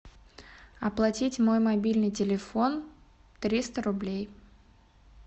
оплатить мой мобильный телефон триста рублей